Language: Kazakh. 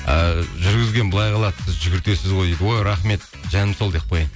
і жүргізген былай қалады сіз жүгіртесіз ғой дейді ой рахмет жаным сол деп қояйын